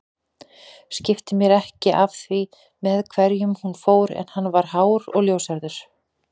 Skipti mér ekki af því með hverjum hún fór en hann var hár og ljóshærður